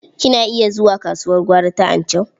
Kina iya zuwa kasuwar gwari ta Anchau?